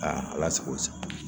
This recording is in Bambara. ala sago i sago